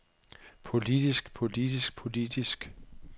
politisk politisk politisk